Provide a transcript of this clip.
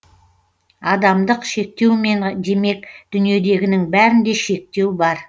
адамдық шектеумен демек дүниедегінің бәрінде шектеу бар